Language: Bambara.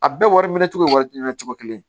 A bɛɛ wari minɛ cogo ye wari minɛ cogo kelen